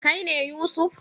Kai ne Yusuf?